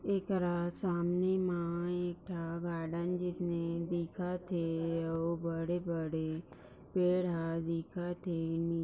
एक रा सामने मा एक गार्डन जिसने दिखत है और बड़े-बड़े पेड़ ह दिखत हे नि--